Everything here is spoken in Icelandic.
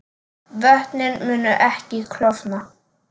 Vötnin munu ekki klofna